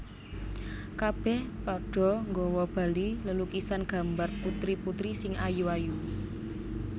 Kabèh padha nggawa bali lelukisan gambar putri putri sing ayu ayu